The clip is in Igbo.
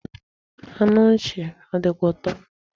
Anụ nchi o dikwa uto?